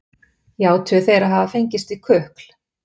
játuðu þeir að hafa fengist við kukl